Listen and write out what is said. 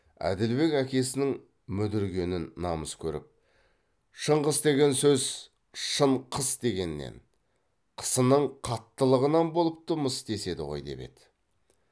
әділбек әкесінің мүдіргенін намыс көріп шыңғыс деген сөз шын қыс дегеннен қысының қаттылығынан болыпты мыс деседі ғой деп еді